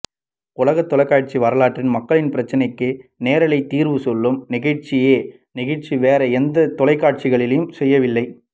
உலகத் தொலைக்காட்சி வரலாற்றில் மக்களின் பிரச்சனைக்கு நேரலையில் தீர்வு சொல்லும் நிகழ்ச்சியை நிகழ்ச்சி வேறு எந்த தொலைக்காட்சியும் செய்யவில்லை